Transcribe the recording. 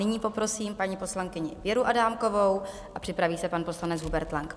Nyní poprosím paní poslankyni Věru Adámkovou a připraví se pan poslanec Hubert Lang.